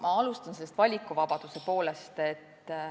Ma alustan valikuvabadusest.